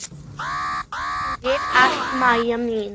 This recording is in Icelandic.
Takk fyrir allt, Maja mín.